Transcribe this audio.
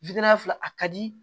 wilina fila a ka di